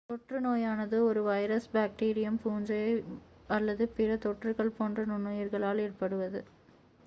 தொற்று நோயானது ஒரு வைரஸ் பேக்டீரியம் பூஞ்சை அல்லது பிற தொற்றுகள் போன்ற நுண்ணுயிர்களால் ஏற்படுவது